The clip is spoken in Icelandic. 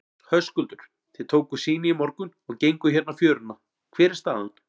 Höskuldur: Þið tókuð sýni í morgun og genguð hérna fjöruna, hver er staðan?